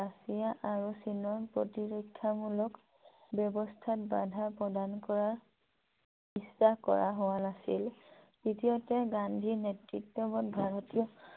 Soviet Russia আৰু চীনৰ প্ৰতিৰক্ষামুলক ব্যৱস্থাত বাধা প্ৰদান কৰা ইচ্ছা কৰা হোৱা নাছিল । তৃতীয়তে গান্ধীৰ নেতৃত্বত ভাৰতীয়